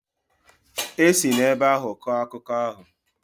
E si n'ebe ahụ kọọ akụkọ ahụ.